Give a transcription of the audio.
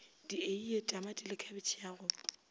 dieie tamatile khabetšhe ya go